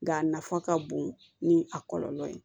Nka a nafa ka bon ni a kɔlɔlɔ ye